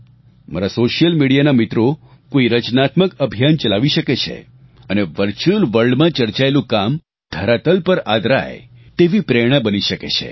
મારા social media ના મિત્રો કોઈ રચનાત્મક અભિયાન ચલાવી શકે છે અને વર્ચ્યુઅલ વર્લ્ડ માં ચર્ચાયેલું કામ ધરાતલ પર આદરાય તેવી પ્રેરણા બની શકે છે